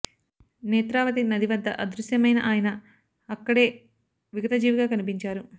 నేత్రావతి నది వద్ద అదృశ్యమైన ఆయన అక్క డే విగతజీవిగా కనిపించారు